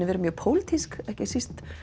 verið mjög pólitísk ekki síst